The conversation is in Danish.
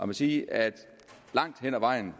må sige at langt hen ad vejen